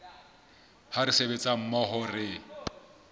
ha re sebetsa mmoho re